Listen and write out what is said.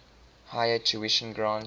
higher tuition grants